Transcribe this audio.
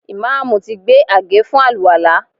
Ìmáàmù ti gbé àgé fún àlùwàlá